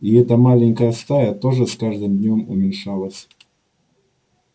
и эта маленькая стая тоже с каждым днём уменьшалась